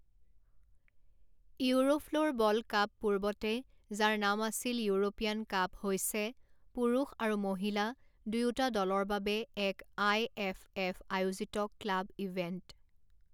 Eurofloorball cup পূৰ্বতে যাৰ নাম আছিল ইউৰোপিয়ান কাপ হৈছে পুৰুষ আৰু মহিলা দুয়োটা দলৰ বাবে এক আই এফ এফ আয়োজিত ক্লাব ইভেণ্ট।